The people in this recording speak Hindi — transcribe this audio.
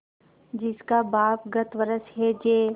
जिसका बाप गत वर्ष हैजे